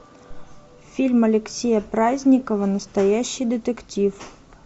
фильм алексея праздникова настоящий детектив